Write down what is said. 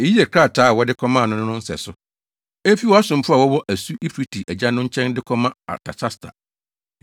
Eyi yɛ krataa a wɔde kɔmaa no no nsɛso: Efi wʼasomfo a wɔwɔ asu Eufrate agya no nkyɛn de kɔma Artasasta: